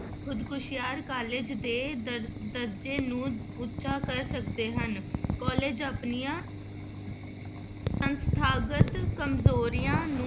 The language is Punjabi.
ਖੁੱਦ ਮੁਖਤਿਆਰ college ਦੇ ਦਰ~ ਦਰਜ਼ੇ ਨੂੰ ਉੱਚਾ ਕਰ ਸਕਦੇ ਹਨ college ਆਪਣੀਆਂ ਸੰਸਥਾਗਤ ਕੰਮਜ਼ੋਰੀਆਂ ਨੂੰ